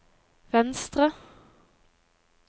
venstre